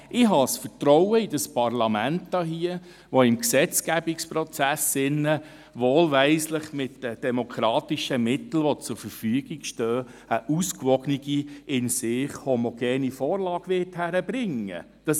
Ich habe das Vertrauen in dieses Parlament hier, dass es im Gesetzgebungsprozess – wohlweislich mit den demokratischen Mitteln, die zur Verfügung stehen – eine ausgewogene, in sich homogene Vorlage hinkriegen wird.